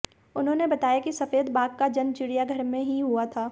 उन्होंने बताया कि सफेद बाघ का जन्म चिड़ियाघर में ही हुआ था